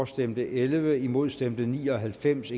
stemte elleve imod stemte ni og halvfems